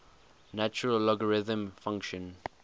natural logarithm function